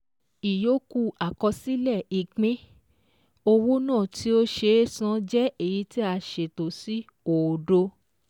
Ìyókù Àkọsílẹ̀ Ìpín-owó náà tí ó ṣe é san jẹ́ èyí tí a ṣètò sí òdo